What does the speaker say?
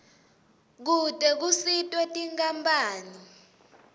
kute kusitwe tinkampani